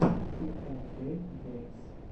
ти энд кейк геймс